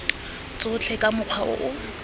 tsotlhe ka mokgwa o o